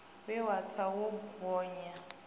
we wo tsa wo gonya